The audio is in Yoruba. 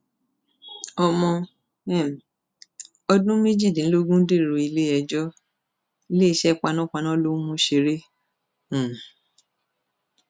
ọmọ um ọdún méjìdínlógún dèrò iléẹjọ iléeṣẹ panápaná ló ń mú ṣeré um